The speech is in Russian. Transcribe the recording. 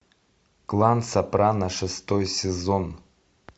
клан сопрано шестой сезон